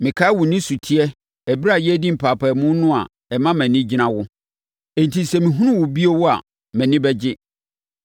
Mekae wo nisuteɛ ɛberɛ a yɛredi mpaapaemu no a, ɛma mʼani gyina wo. Enti sɛ mehunu wo bio a mʼani bɛgye.